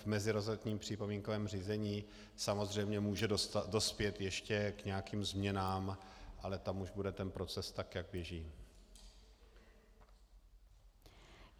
V meziresortním připomínkovém řízení samozřejmě může dospět ještě k nějakým změnám, ale tam už bude ten proces, tak jak běží.